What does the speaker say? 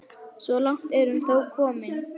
Svo langt er hún þó komin.